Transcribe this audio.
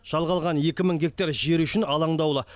жалға алған екі мың гектар жері үшін алаңдаулы